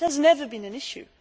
that has never been an issue.